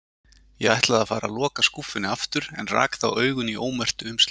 Ég ætlaði að fara að loka skúffunni aftur en rak þá augun í ómerktu umslögin.